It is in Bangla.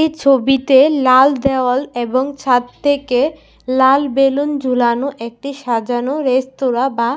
এই ছবিতে লাল দেওয়াল এবং ছাদ থেকে লাল বেলুন ঝুলানো একটি সাজানো রেস্তুরা বা